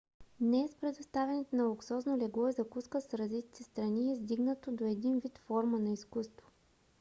днес предоставянето на луксозно легло и закуска в развитите страни е издигнато до един вид форма на изкуство